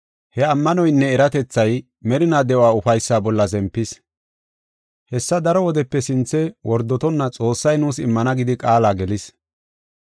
He ammanoynne eratethay merinaa de7uwa ufaysaa bolla zempis. Hessa daro wodepe sinthe wordotonna Xoossay nuus immana gidi qaala gelis.